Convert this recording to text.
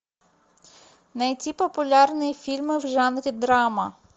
найти популярные фильмы в жанре драма